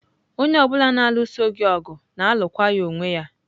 Onye ọ bụla na-alụso gị ọgụ, na-alụkwa ya onwe ya.